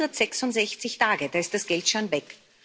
166 Tage da ist das Geld schon weg.